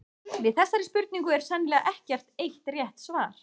Við þessari spurningu er sennilega ekkert eitt rétt svar.